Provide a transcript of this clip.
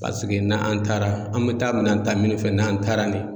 Paseke n'an taara an bɛ taa minɛn ta min fɛ n'an taara ni.